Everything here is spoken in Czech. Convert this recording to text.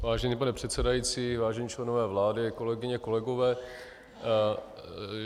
Vážený pane předsedající, vážení členové vlády, kolegyně kolegové.